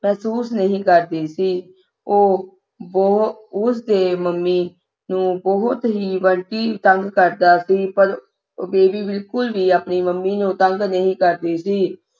ਮਹਿਸੂਸ ਨਹੀਂ ਕਰਦੀ ਸੀ ਉਹ ਬਹੁ ਉਸ ਦੇ ਮੰਮੀ ਨੂੰ ਬੰਟੀ ਬਹੁਤ ਹੀ ਤੰਗ ਕਰਦਾ ਸੀ ਪਰ ਬੀਬੀ ਬਿਲਕੁਲ ਵੀ ਨਹੀਂ ਮੰਮੀ ਨੂੰ ਤੰਗ ਕਰਦੀ ਸੀ